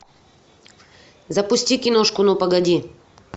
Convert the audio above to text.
запусти киношку ну погоди